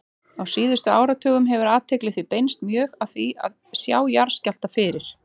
Á síðustu áratugum hefur athygli því beinst mjög að því að sjá jarðskjálfta fyrir.